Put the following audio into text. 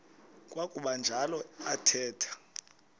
kwakuba njalo athetha